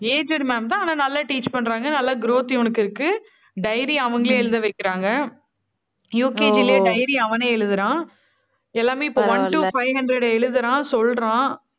aged ma'am தான். ஆனா நல்லா teach பண்றாங்க. நல்லா, growth இவனுக்கு இருக்கு. dairy யும் அவங்களே எழுத வைக்கறாங்க. UKG ல dairy அவனே எழுதுறான். எல்லாமே இப்போ one to five hundred எழுதறான் சொல்றான்